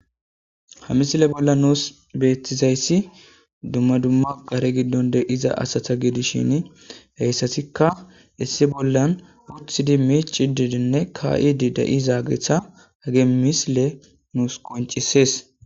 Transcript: Ha misile bolla nuus beettizayssi dumma dumma qare giddon de'iza asata giidishin heyssasikka issi bollan wuthidi miic idiidinne ka7idi da7izaageetha hage misile nuus qoncisees